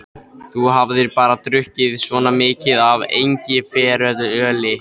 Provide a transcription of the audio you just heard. Þú hafir bara drukkið svona mikið af engiferöli.